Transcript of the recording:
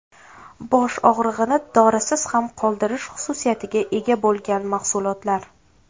Bosh og‘rig‘ini dorisiz ham qoldirish xususiyatiga ega bo‘lgan mahsulotlar.